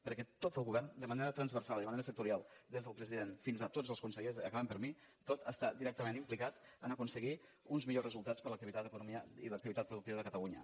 perquè tot el govern de manera transversal i de manera sectorial des del president fins a tots el consellers acabant per mi tot està directament implicat a aconseguir uns millors resultats per a l’activitat econòmica i l’activitat productiva de catalunya